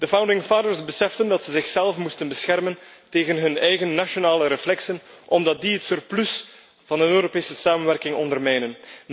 De founding fathers beseften dat ze zichzelf moesten beschermen tegen hun eigen nationale reflexen, omdat die het surplus van een Europese samenwerking ondermijnen.